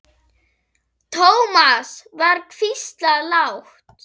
Thomas var hvíslað lágt.